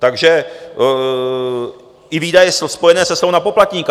Takže i výdaje spojené se slevou na poplatníka.